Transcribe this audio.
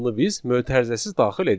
biz mötərizəsiz daxil edirik.